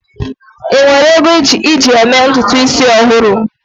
ị nwere ego iji mee ntutu isi ọhụrụ?